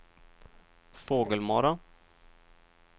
Fågelmara